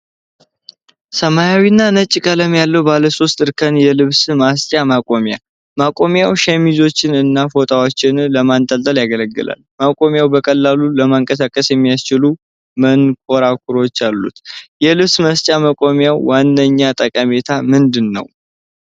ሰማያዊና ነጭ ቀለም ያለው ባለ ሶስት እርከን የልብስ ማስጫ መቆሚያ። መቆሚያው ሸሚዞችና ፎጣዎችን ለማንጠልጠል ያገለግላል። መቆሚያው በቀላሉ ለማንቀሳቀስ የሚያስችሉ መንኮራኩሮች አሉት። የልብስ ማስጫ መቆሚያ ዋነኛ ጠቀሜታ ምንድን ነው?